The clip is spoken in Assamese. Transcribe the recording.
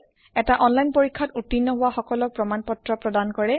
এটা অনলাইন পৰীক্ষাত উত্তীৰ্ণ হোৱা সকলক প্ৰমাণ পত্ৰ প্ৰদান কৰে